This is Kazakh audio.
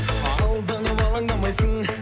алданып алаңдамайсың